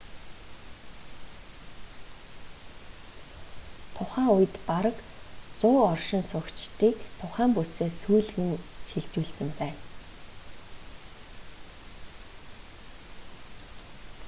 тухай үед бараг 100 оршин суугчдыг тухай бүсээс нүүлгэн шилжүүлсэн байжээ